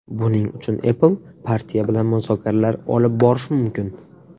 Buning uchun Apple partiya bilan muzokaralar olib borishi mumkin.